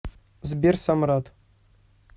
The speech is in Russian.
сбер самрат